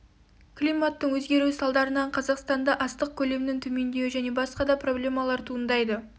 климаттың өзгеруі салдарынан қазақстанда астық көлемінің төмендеуі және басқа да проблемалар туындайды